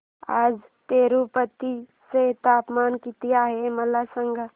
आज तिरूपती चे तापमान किती आहे मला सांगा